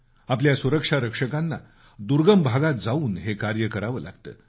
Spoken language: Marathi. आपल्या सुरक्षा रक्षकांना दुर्गम भागात जाऊन हे कार्य करावं लागतं